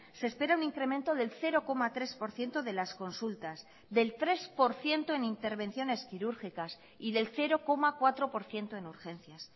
se espera un incremento del cero coma tres por ciento de las consultas del tres por ciento en intervenciones quirúrgicas y del cero coma cuatro por ciento en urgencias